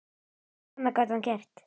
Hvað annað gat hann gert?